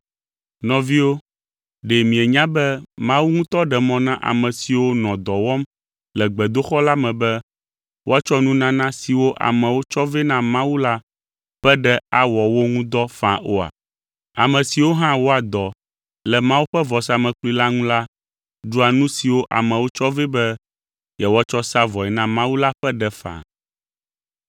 Nɔviwo, ɖe mienya be Mawu ŋutɔ ɖe mɔ na ame siwo nɔ dɔ wɔm le gbedoxɔ la me be woatsɔ nunana siwo amewo tsɔ vɛ na Mawu la ƒe ɖe awɔ wo ŋu dɔ faa oa? Ame siwo hã wɔa dɔ le Mawu ƒe vɔsamlekpui la ŋu la ɖua nu siwo amewo tsɔ vɛ be yewoatsɔ sa vɔe na Mawu la ƒe ɖe faa.